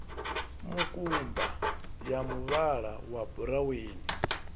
mukumba ya muvhala wa buraweni